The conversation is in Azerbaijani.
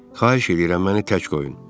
Xahiş eləyirəm məni tək qoyun.